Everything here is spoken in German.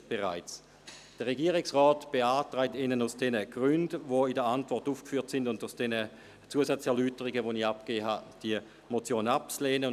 Der Regierungsrat beantragt Ihnen aus den Gründen, die in der Antwort aufgeführt sind, und aufgrund der Zusatzerläuterungen, die ich Ihnen gegeben habe, diese Motion abzulehnen.